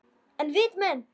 En viti menn!